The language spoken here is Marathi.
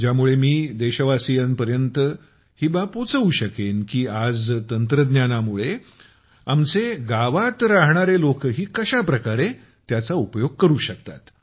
ज्यामुळे मी देशवासियांपर्यंत ही बाब पोहचवू शकेन की आजच्या तंत्रज्ञानामुळे आमचे गावात रहाणारे लोकही कशा प्रकारे त्याचा उपयोग करू शकतात